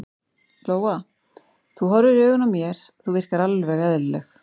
Lóa: Þú horfir í augun á mér, þú virkar alveg eðlileg?